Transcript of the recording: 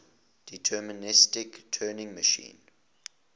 deterministic turing machine